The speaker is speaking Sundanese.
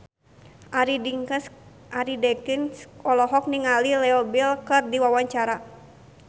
Arie Daginks olohok ningali Leo Bill keur diwawancara